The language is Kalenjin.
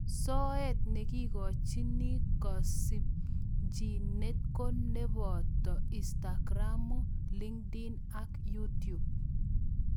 soet neigochiin kasimchineet ko nepotoo inistakiram, Linkediln ak yutub